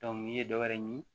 n'i ye dɔwɛrɛ ɲimi